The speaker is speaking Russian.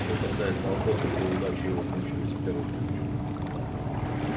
что касается охоты то удачи его кончились с первым же днём